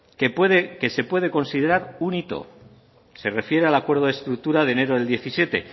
que se puede considerar un hito se refiere al acuerdo de estructura de enero del diecisiete